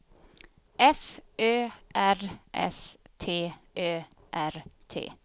F Ö R S T Ö R T